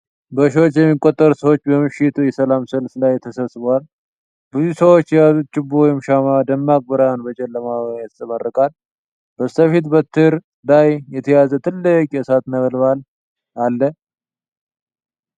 በሺዎች የሚቆጠሩ ሰዎች በምሽት የሰላም ሰልፍ ላይ ተሰብስበዋል። ብዙዎቹ ሰዎች የያዙት ችቦ ወይም ሻማ ደማቅ ብርሃን በጨለማው ላይ ያንጸባርቃል። በስተፊት፣ በትር ላይ የተያዘ ትልቅ የእሳት ነበልባል አለ።